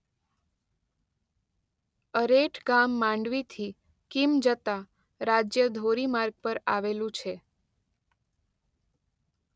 અરેઠ ગામ માંડવીથી કીમ જતા રાજ્ય ધોરી માર્ગ પર આવેલું છે.